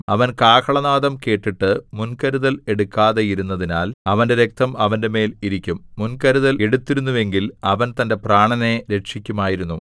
അവൻ കാഹളനാദം കേട്ടിട്ട് മുൻകരുതൽ എടുക്കാതെയിരുന്നതിനാൽ അവന്റെ രക്തം അവന്റെമേൽ ഇരിക്കും മുൻകരുതൽ എടുത്തിരുന്നുവെങ്കിൽ അവൻ തന്റെ പ്രാണനെ രക്ഷിക്കുമായിരുന്നു